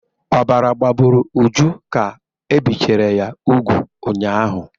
Ọbara gbagburu Uju ka e bichara ya úgwù ụnyaahụ.